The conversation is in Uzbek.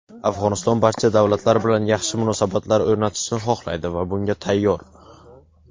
Afg‘oniston barcha davlatlar bilan yaxshi munosabatlar o‘rnatishga xohlaydi va bunga tayyor.